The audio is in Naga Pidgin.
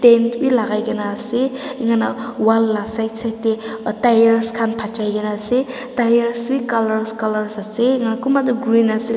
paint b lagaigina ase eneka hui na wall la side side de tyres khan phajai gina ase tyres b colors colors ase eneka kumba toh green ase.